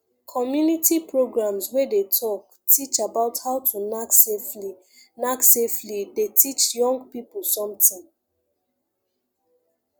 community programs wey dey talk teach about how to knack safely knack safely dey teach young people something